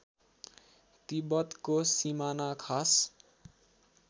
तिब्बतको सिमाना खासा